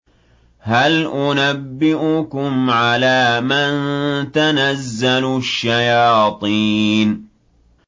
هَلْ أُنَبِّئُكُمْ عَلَىٰ مَن تَنَزَّلُ الشَّيَاطِينُ